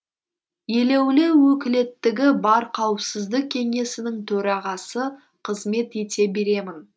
елеулі өкілеттігі бар қауіпсіздік кеңесінің төрағасы қызмет ете беремін